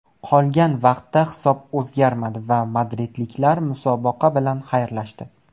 Qolgan vaqtda hisob o‘zgarmadi va madridliklar musobaqa bilan xayrlashdi.